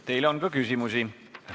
Teile on ka küsimusi.